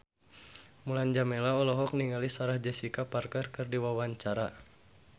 Mulan Jameela olohok ningali Sarah Jessica Parker keur diwawancara